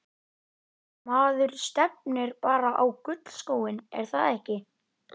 Maður stefnir bara á gullskóinn er það ekki?